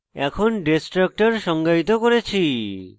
এখন destructor সংজ্ঞায়িত করেছি